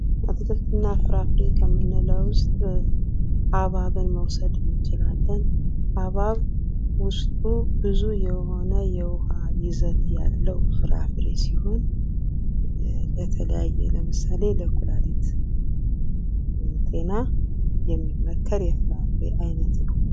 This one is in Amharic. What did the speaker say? አትክልትና ፍራፍሬ ከምንለዉ ውስጥ አብሃብን መውሰድ እንችላለን ሀብሃብ ውስጡ ብዙ የሆነ የውሃ ይዘት ያለው ፍራፍሬ ሲሆን በተለያየ ለምሳሌ በኩላሊት ጤና የሚመከር የፍራፍሬ አይነት ነው ::